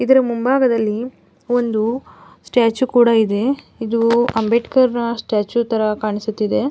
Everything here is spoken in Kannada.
ಇದರ ಮುಂಭಾಗದಲ್ಲಿ ಒಂದು ಸ್ಟ್ಯಾಚು ಕೂಡ ಇದೆ ಇದು ಅಂಬೇಡ್ಕರ್ ಸ್ಟ್ಯಾಚು ತರ ಕಾಣಿಸುತ್ತಿದೆ.